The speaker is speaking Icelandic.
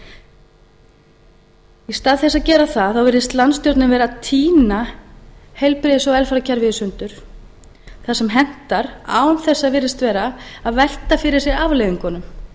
í stað þess að gera það virðist landstjórnin vera að tína heilbrigðis og velferðarkerfið í sundur þar sem hentar án þess að virðist vera að velta fyrir sér afleiðingunum